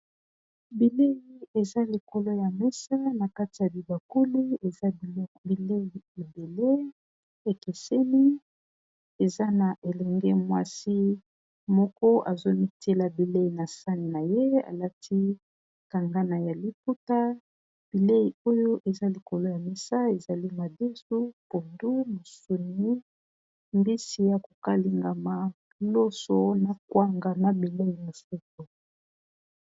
Bileyi Eza ñakati yakibakuli bileyi Oyo eza pondu loso n'a misuni n'a kwanga eza bileyi Moko ya kitoko